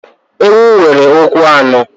Ewu nwere ụkwụ anọ.